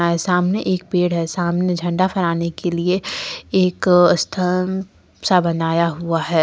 सामने एक पेड़ है सामने झंडा फहराने के लिए एक स्थान सा बनाया हुआ है।